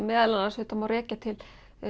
meðal annars má rekja til